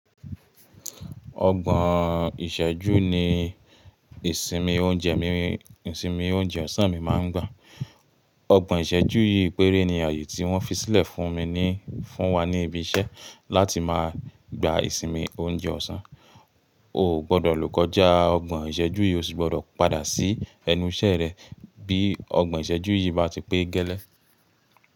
Ọgbọ̀n ìṣẹ́jú ni isinmi ìsinmi oúnjẹ ọ̀sán mi máa ń gba. Ọgbọ̀n ìṣẹ́jú yìí péré ni ààyè tí wón fi sílẹ̀ fún ni fun wa ní ibi iṣẹ́ láti máa gba ìsinmi oúnjẹ ọ̀sán. O gbọdọ̀ lóko já ọgbọ̀n ìṣẹ́jú yìí o sì gbọdọ̀ padà sí ẹnu iṣẹ́ rẹ bí ọgbọ̀n ìṣẹ́jú yìí bá ti pé gẹ́lẹ́.